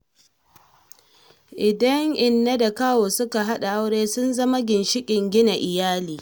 Idan inna da kawu suka haɗa aure sun zama ginshiƙin gina iyali.